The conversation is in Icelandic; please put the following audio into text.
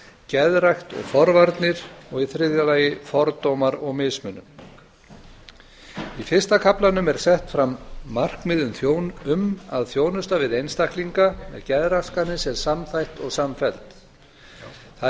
geðrækt og forvarnir og í þriðja lagi fordómar og mismunun í fyrsta kaflanum er sett fram markmið um að þjónusta við einstaklinga með geðraskanir sé samþætt og samfelld það er